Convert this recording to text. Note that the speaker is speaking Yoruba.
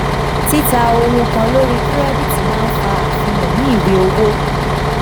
tita ohunkan lori kirẹditi maa nfa afihan ni iwe owo.